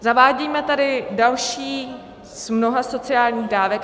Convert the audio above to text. Zavádíme tady další z mnoha sociálních dávek.